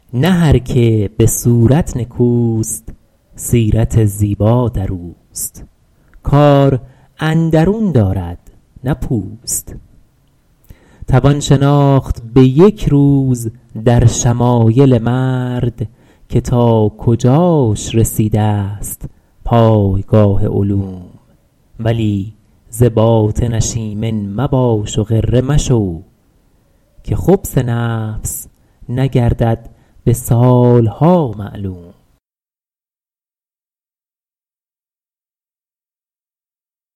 نه هر که به صورت نکوست سیرت زیبا در اوست کار اندرون دارد نه پوست توان شناخت به یک روز در شمایل مرد که تا کجاش رسیده ست پایگاه علوم ولی ز باطنش ایمن مباش و غره مشو که خبث نفس نگردد به سالها معلوم